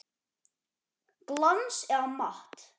Glans eða matt?